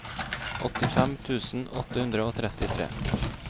åttifem tusen åtte hundre og trettitre